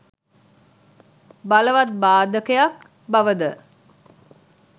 බලවත් බාධකයක් බව ද